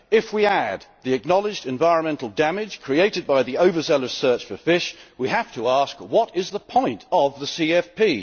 If we add the acknowledged environmental damage created by the overzealous search for fish we have to ask what is the point of the CFP?